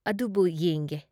ꯑꯗꯨꯕꯨꯨ ꯌꯦꯡꯒꯦ ꯫